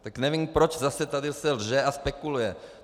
Tak nevím, proč zase tady se lže a spekuluje.